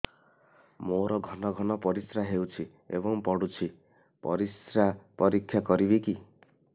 ମୋର ଘନ ଘନ ପରିସ୍ରା ହେଉଛି ଏବଂ ପଡ଼ୁଛି ପରିସ୍ରା ପରୀକ୍ଷା କରିବିକି